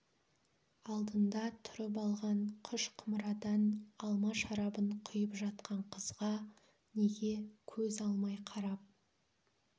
алдында тұрып алған қыш құмырадан алма шарабын құйып жатқан қызға неге көз алмай қарап